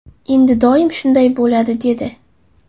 Endi doim shunday bo‘ladi”, dedi.